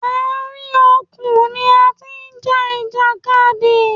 Àárín òkun ni a ti ń ja ìjàkadì.